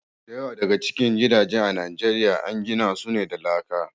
Da yawa daga cikin gidaje a Nijeriya an gina su ne da laka.